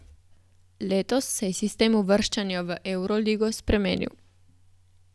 Letos se je sistem uvrščanja v evroligo spremenil.